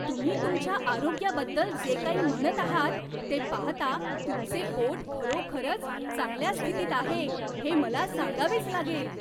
तुम्ही तुमच्या आरोग्याबद्दल जे काही म्हणत आहात ते पाहता तुमचे पोट खरोखरच चांगल्या स्थितीत आहे हे मला सांगावेच लागेल.